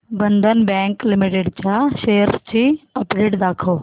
बंधन bank limited च्या shares ची update दाखव